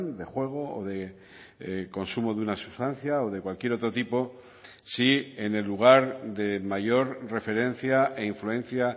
de juego o de consumo de una sustancia o de cualquier otro tipo si en el lugar de mayor referencia e influencia